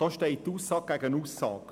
Nun steht Aussage gegen Aussage.